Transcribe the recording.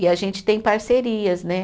E a gente tem parcerias, né?